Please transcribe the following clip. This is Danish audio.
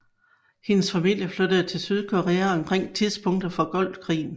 Hendes familie flyttede til Sydkorea omkring tidspunktet for Golfkrigen